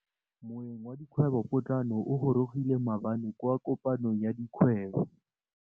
Moêng wa dikgwêbô pôtlana o gorogile maabane kwa kopanong ya dikgwêbô.